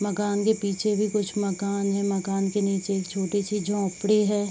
मकान के पीछे भी कुछ मकान है मकान के नीचे एक छोटी-सी झोंपड़ी है।